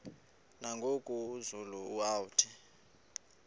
nangoku zulu uauthi